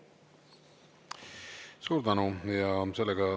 Suur tänu!